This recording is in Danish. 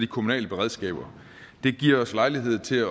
kommunale beredskaber det giver os lejlighed til at